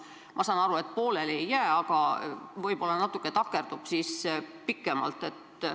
Ma saan aru, et pooleli ettevõtmine ei jää, aga võib-olla see jääb pikemaks takerduma.